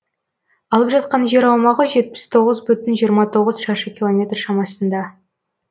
алып жатқан жер аумағы жетпіс тоғыз бүтін жиырма тоғыз шаршы километр шамасында